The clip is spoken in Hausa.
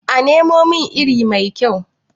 a Nemo min iri mai kyau?